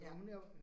Ja